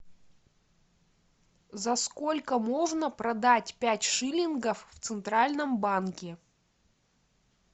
за сколько можно продать пять шиллингов в центральном банке